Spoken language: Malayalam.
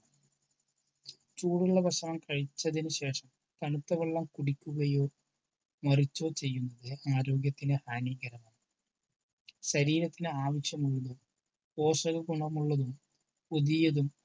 ചൂടുള്ള ഭക്ഷണം കഴിച്ചതിനു ശേഷം തണുത്ത വെള്ളം കുടിക്കുകയോ മറിച്ചോ ചെയ്യുന്നത് ആരോഗ്യത്തിനു ഹാനികരമാണ്. ശരീരത്തിന് ആവശ്യമുള്ളതും പോഷകഗുണമുള്ളതും പുതിയതും